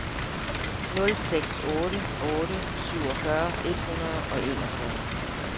nul seks otte otte syvogfyrre et hundrede og enogfyrre